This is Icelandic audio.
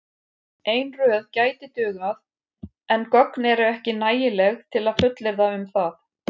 Ein röð gæti dugað en gögn eru ekki nægileg til að fullyrða um það.